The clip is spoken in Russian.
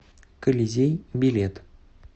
колизей билет